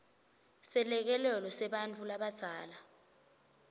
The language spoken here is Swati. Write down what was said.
selekelelo sebantfu labadzala